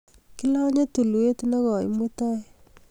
Kilanye tulwet nekoi mutai